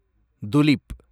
tulip